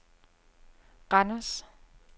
Randers